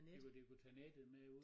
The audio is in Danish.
De kunne de kunne tage nettet med ud